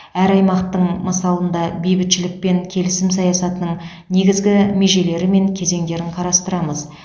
әр аймақтың мысалында бейбітшілік пен келісім саясатының негізгі межелері мен кезеңдерін қарастырамыз